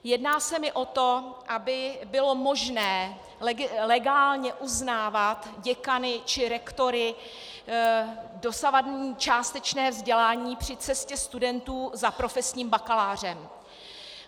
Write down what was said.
Jedná se mi o to, aby bylo možné legálně uznávat děkany či rektory dosavadní částečné vzdělání při cestě studentů za profesním bakalářem.